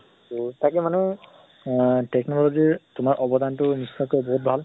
উম তাকে মানে আহ technology ৰ তোমাৰ অৱদান টো সঁচা কে বহুত ভাল।